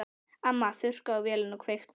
Amma þurrkaði af vélinni og kveikti.